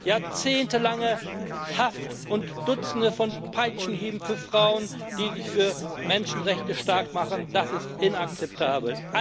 Jahrzehntelange Haft und Dutzende von Peitschenhieben für Frauen, die sich für Menschenrechte starkmachen, das ist inakzeptabel!